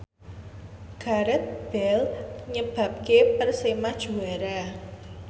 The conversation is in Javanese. Gareth Bale nyebabke Persema juara